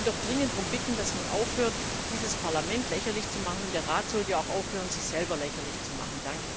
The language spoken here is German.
Wir möchten doch dringend darum bitten, dass man aufhört, dieses Parlament lächerlich zu machen, und der Rat sollte auch aufhören, sich selber lächerlich zu machen.